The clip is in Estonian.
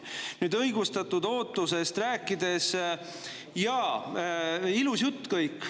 Nüüd, kui õigustatud ootusest rääkida, siis jaa, ilus jutt kõik.